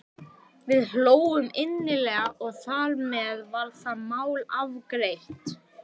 Við hlógum innilega og þar með var það mál afgreitt.